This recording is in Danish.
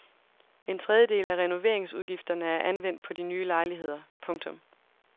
En tredjedel af renoveringsudgifterne er anvendt på de nye lejligheder. punktum